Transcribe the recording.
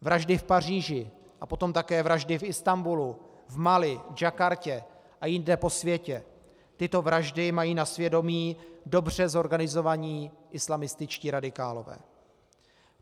Vraždy v Paříži a potom také vraždy v Istanbulu, v Mali, v Jakartě a jinde po světě, tyto vraždy mají na svědomí dobře zorganizovaní islamističtí radikálové.